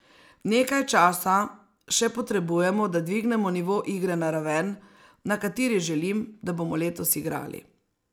Nekaj časa še potrebujemo, da dvignemo nivo igre na raven, na kateri želim, da bomo letos igrali.